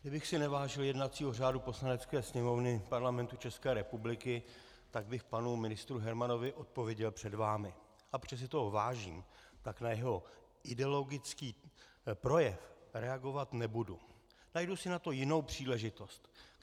Kdybych si nevážil jednacího řádu Poslanecké sněmovny Parlamentu České republiky, tak bych panu ministru Hermanovi odpověděl před vámi, ale protože si toho vážím, tak na jeho ideologický projev reagovat nebudu, najdu si na to jinou příležitost.